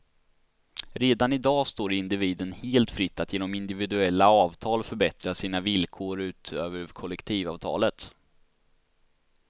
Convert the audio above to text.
Redan i dag står det individen helt fritt att genom individuella avtal förbättra sina villkor utöver kollektivavtalet.